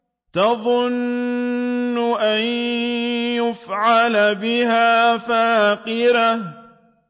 تَظُنُّ أَن يُفْعَلَ بِهَا فَاقِرَةٌ